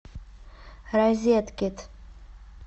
розеткед